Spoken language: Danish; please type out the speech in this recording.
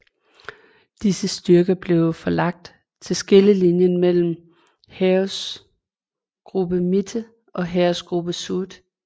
Disse styrker blev forlagt til skillelinjen mellem Heeresgruppe Mitte og Heeresgruppe Süd